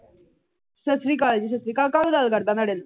ਸਤਿ ਸ਼੍ਰੀ ਅਕਾਲ ਜੀ। ਸਤਿ ਸ਼੍ਰੀ ਅਕਾਲ ਕੱਲ ਕਰਦਾ ਤੁਹਾਡੇ ਨਾਲ